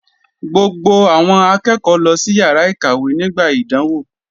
Gbogbo àwọn akẹ́kọ̀ọ́ lọ sí yàrá ìkàwé nígbà ìdánwò.